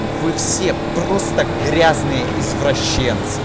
вы все просто грязные извращенцы